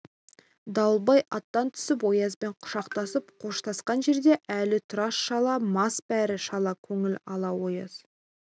дауылбай аттан түсіп оязбен құшақтасып қоштасқан жерде әлі тұр шала мас бәрі шала көңіл ала ояз